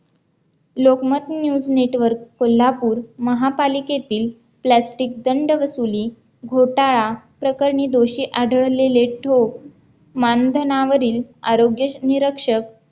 Lokmat News network Kolhapur महापालिकेतील plastic दंड वसुली घोटाळा प्रकरणी दोषी आढळलेले ठोक मानधनावरील आरोग्य निरक्षक